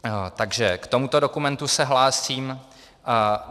Takže k tomuto dokumentu se hlásím.